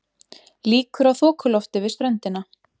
Líkur á þokulofti við ströndina